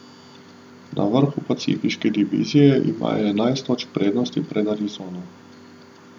Na vrhu pacifiške divizije imajo enajst točk prednosti pred Arizono.